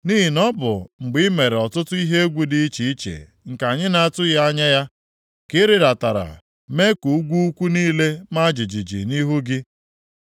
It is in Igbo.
Nʼihi na ọ bụ mgbe i mere ọtụtụ ihe egwu dị iche iche nke anyị na-atụghị anya ya ka ị rịdatara mee ka ugwu ukwu niile maa jijiji nʼihu gị.